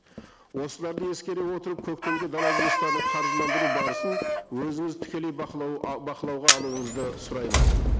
осыларды ескере отырып көктемгі дала жұмыстарын қаржыландыру барысын өзіңіз тікелей бақылау бақылауға алуыңызды сұраймыз